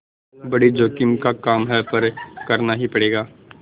बड़ी जोखिम का काम है पर करना ही पड़ेगा